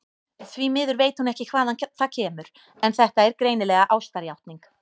Því miður veit hún ekki hvaðan það kemur, en þetta er greinilega ástarjátning.